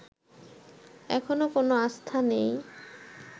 এখনো কোন আস্থা নেই